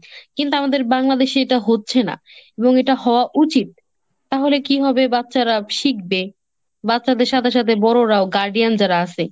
কিন্তু আমাদের Bangladesh এ এটা হচ্ছে না। এবং এটা হওয়া উচিত। তাহলে কি হবে বাচ্চারা শিখবে। বাচ্চাদের সাথে সাথে বড়োরাও , guardian যারা আছে,